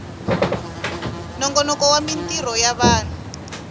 nongonoko wa mintirho ya vanhu